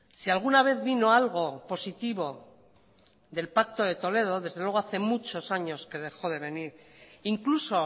si alguna vez vino algo positivo del pacto de toledo desde luego hace muchos años que dejó de venir incluso